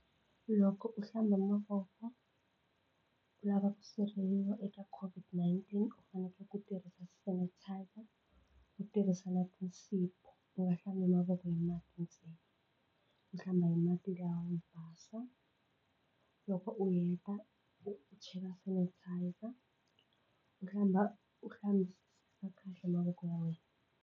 Loko u hlamba mavoko u lava ku sirheleriwa eka COVID-19 u fanekele ku tirhisa sanitizer u tirhisa na tinsipho u nga hlambi mavoko hi mati ntsena u hlamba hi mati lawa yo basa loko u heta u chela sanitizer u hlamba u hlambisisa kahle mavoko ya wena.